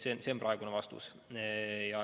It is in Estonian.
See on praegune vastus.